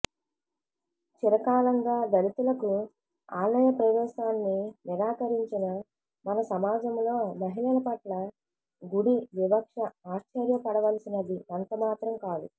చిరకాలంగా దళితులకు ఆలయ ప్రవేశాన్ని నిరాకరించిన మన సమాజంలో మహిళల పట్ల గుడి వివక్ష ఆశ్చర్యపడవలసినది ఎంత మాత్రం కాదు